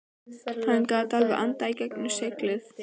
Hann getur alveg andað í gegnum seglið.